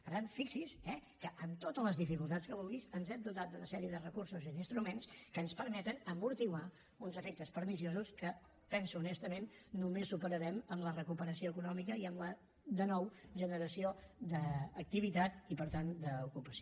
per tant fixi’s eh que amb totes les dificultats que vulgui ens hem dotat d’una sèrie de recursos i d’instruments que ens permeten esmorteir uns efectes perniciosos que penso honestament que només els superarem amb la recuperació econòmica i amb la de nou generació d’activitat i per tant d’ocupació